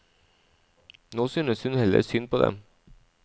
Nå synes hun heller synd på dem.